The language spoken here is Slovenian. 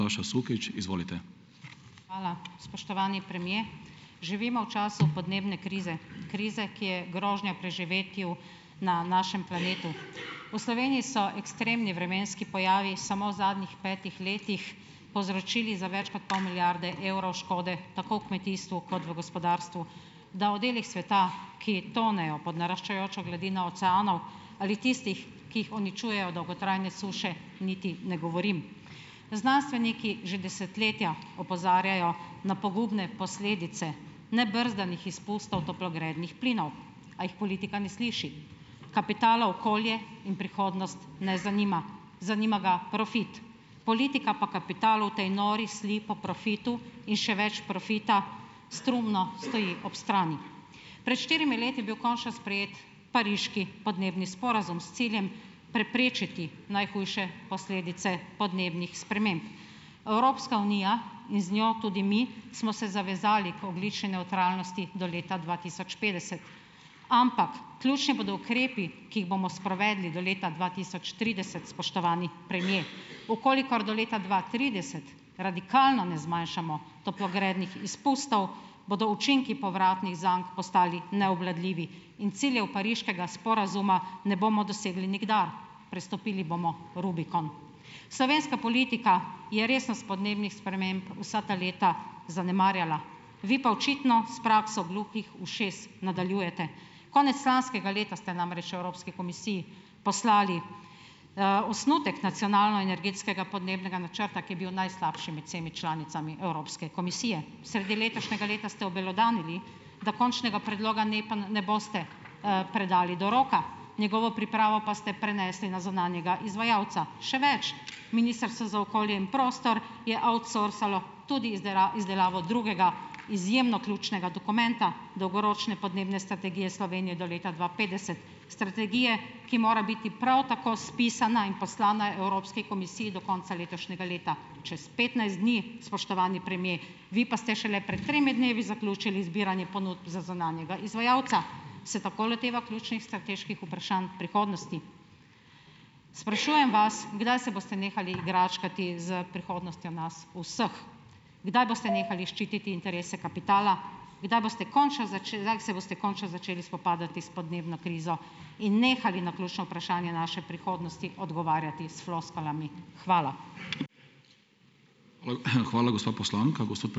Hvala. Spoštovani premier! Živimo v času podnebne krize. Krize, ki je grožnja preživetju na našem planetu. V Sloveniji so ekstremni vremenski pojavi samo v zadnjih petih letih povzročili za več kot pol milijarde evrov škode tako v kmetijstvu kot v gospodarstvu, da o delih sveta, ki tonejo pod naraščajočo gladino oceanov, ali tistih, ki jih uničujejo dolgotrajne suše, niti ne govorim. Znanstveniki že desetletja opozarjajo na pogubne posledice nebrzdanih izpustov toplogrednih plinov, a jih politika ne sliši. Kapitala okolje in prihodnost ne zanima. Zanima ga profit. Politika pa kapital v tej nori sli po profitu in še več profita strumno stoji ob strani. Pred štirimi leti je bil končno sprejet pariški podnebni sporazum s ciljem preprečiti najhujše posledice podnebnih sprememb. Evropska unija in z njo tudi mi smo se zavezali k ogljični nevtralnosti do leta dva tisoč petdeset, ampak ključni bodo ukrepi, ki jih bomo sprovedli do leta dva tisoč trideset, spoštovani premier. V kolikor do leta dva trideset radikalno ne zmanjšamo toplogrednih izpustov, bodo učinki povratnih zank postali neobvladljivi in ciljev pariškega sporazuma ne bomo dosegli nikdar. Prestopili bomo rubikon. Slovenska politika je resnost podnebnih sprememb vsa ta leta zanemarjala, vi pa očitno s prakso gluhih ušes nadaljujete. Konec lanskega leta ste namreč Evropski komisiji poslali, osnutek nacionalnoenergetskega podnebnega načrta, ki je bil najslabši med vsemi članicami Evropske komisije. Sredi letošnjega leta ste obelodanili, da končnega predloga NEP-a ne boste, predali do roka, njegovo pripravo pa ste prenesli na zunanjega izvajalca. Še več, Ministrstvo za okolje in prostor je outsourcalo tudi izdelavo drugega izjemno ključnega dokumenta, dolgoročne podnebne strategije Slovenije do leta dva petdeset, strategije, ki mora biti prav tako spisana in poslana Evropski komisiji do konca letošnjega leta. Čez petnajst dni, spoštovani premier, vi pa ste šele pred tremi dnevi zaključili zbiranje ponudb za zunanjega izvajalca. Se tako loteva ključnih strateških vprašanj prihodnosti? Sprašujem vas, kdaj se boste nehali igračkati s prihodnostjo nas vseh? Kdaj boste nehali ščititi interese kapitala? Kdaj boste končno kdaj se boste končno začeli spopadati s podnebno krizo in nehali na ključna vprašanja naše prihodnosti odgovarjati s floskulami? Hvala.